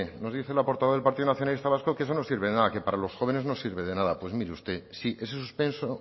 nos dice la portavoz del partido nacionalista vasco que eso no sirve de nada que para los jóvenes no sirve de nada pues mire usted sí ese suspenso